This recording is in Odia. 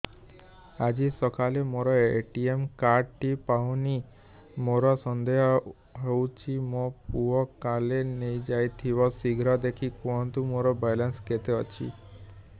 ଆଜି ସକାଳେ ମୋର ଏ.ଟି.ଏମ୍ କାର୍ଡ ଟି ପାଉନି ମୋର ସନ୍ଦେହ ହଉଚି ମୋ ପୁଅ କାଳେ ନେଇଯାଇଥିବ ଶୀଘ୍ର ଦେଖି କୁହନ୍ତୁ ମୋର ବାଲାନ୍ସ କେତେ ଅଛି